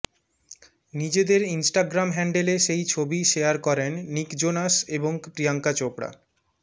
নিজেদের ইনস্টাগ্রাম হ্যান্ডেলে সেই ছবি শেয়ার করেন নিক জোনাস এবং প্রিয়াঙ্কা চোপড়া